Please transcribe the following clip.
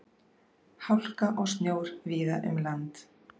Hálka og snjór víða um land